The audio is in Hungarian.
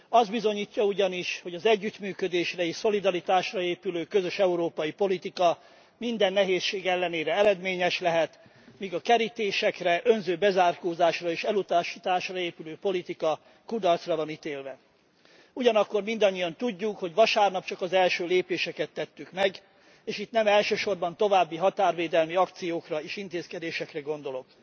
Azt bizonyítja ugyanis, hogy az együttműködésre és szolidaritásra épülő közös európai politika minden nehézség ellenére eredményes lehet, míg a kerítésekre, önző bezárkózásra és elutasításra épülő politika kudarcra van ítélve. Ugyanakkor mindannyian tudjuk, hogy vasárnap csak az első lépéseket tettük meg és itt nem elsősorban további határvédelmi akciókra és intézkedésekre gondolok.